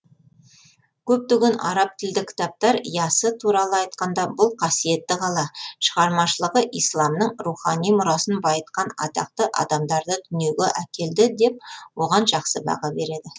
көптеген араб тілді кітаптар ясы туралы айтқанда бұл қасиетті қала шығармашылығы исламның рухани мұрасын байытқан атақты адамдарды дүниеге әкелді деп оған жақсы баға береді